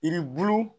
Yiribulu